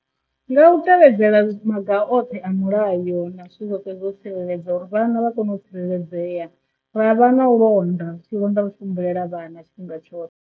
Nga u tevhedzela maga a oṱhe a mulayo na zwithu zwoṱhe zwo tsireledzea uri vhana vha kone u tsireledzea ra vha na londa tshilonda ri tshi humbulela vhana tshifhinga tshoṱhe.